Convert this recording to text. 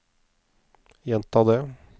gjenta det